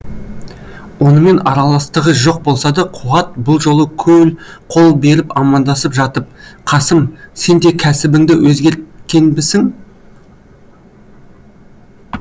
онымен араластығы жоқ болса да қуат бұл жолы қол беріп амандасып жатып қасым сен де кәсібіңді өзгерткенбісің